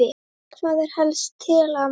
Hvað er helst til ama?